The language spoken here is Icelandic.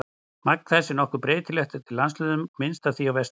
Magn þess er nokkuð breytilegt eftir landshlutum og er minnst af því á Vestfjörðum.